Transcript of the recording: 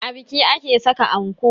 A biki ake saka anko